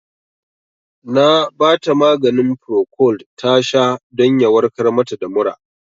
Na bata maganin Procold tasha don ya warkar mata da mura